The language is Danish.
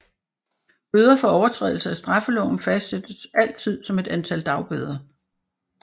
Bøder for overtrædelse af straffeloven fastsættes altid som et antal dagbøder